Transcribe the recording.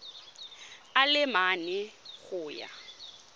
a le mane go ya